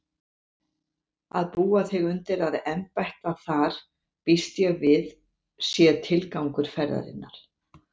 Að búa þig undir að embætta þar býst ég við sé tilgangur ferðar þinnar.